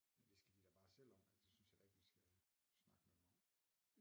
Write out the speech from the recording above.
Det skal de da bare selv om det synes jeg da ikke vi skal snakke med dem om